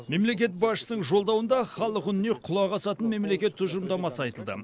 мемлекет басшысының жолдауында халық үніне құлақ асатын мемлекет тұжырымдамасы айтылды